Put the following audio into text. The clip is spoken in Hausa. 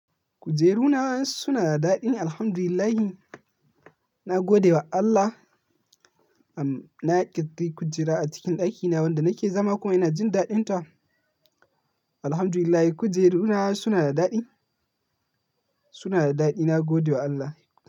Kujeru na suna da daɗi, Alhamdulillahi. Na gode wa Allah. Am, na ƙiddi kujera a cikin ɗakina wanda nake zama kuma ina jin daɗinta. Alhamdulillah, kujeru na suna da daɗi, suna da daɗi. Na gode wa Allah.